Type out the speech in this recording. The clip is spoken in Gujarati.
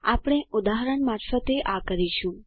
આપણે ઉદાહરણ મારફતે આ કરીશું